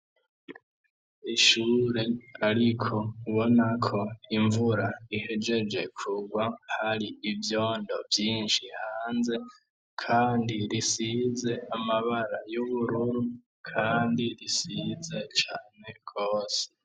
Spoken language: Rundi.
Ishure ariko ubona ko imvura ihegeje kugwa hari ivyondo vyishi hanze kandi risize amabara y'ubururu kandi risize cane gose.